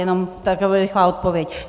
Jenom takhle rychlá odpověď.